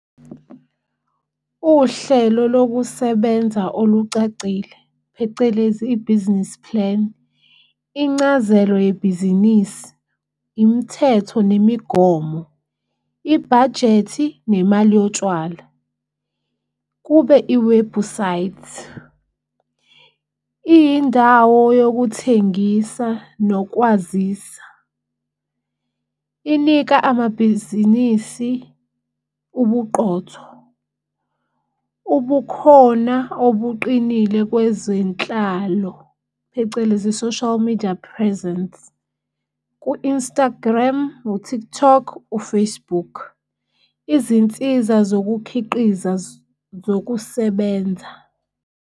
Uhlelo lokusebenza olucacile phecelezi i-business plan, incazelo yebhizinisi, imithetho nemigomo, ibhajethi nemali yotshwala. Kube iwebhusayithi, iyindawo yokuthengisa nokwazisa. Inikwa amabhizinisi ubuqotho, ubukhona obuqinile kwezenhlalo, phecelezi i-social media presence ku-Instagram, u-TikTok, u-Facebook. Izinsiza zokukhiqiza zokusebenza.